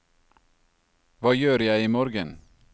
hva gjør jeg imorgen